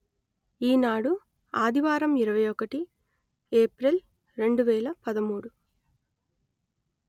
ఈనాడు ఆదివారం ఇరవై ఒకటి ఏప్రిల్ రెండు వేల పదమూడు